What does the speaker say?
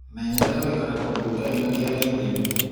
Menyerera gũikara kũndu gũtarĩ na riera itheru.